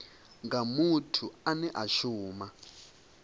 nga muthu ane a shuma